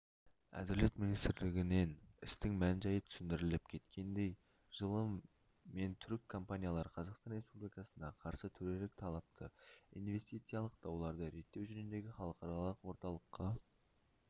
әділет министрлігінінен істің мән-жайы түсіндіріліп кеткендей жылы мен түрік компаниялары қазақстан республикасына қарсы төрелік талапты инвестициялық дауларды реттеу жөніндегі халықаралық орталыққа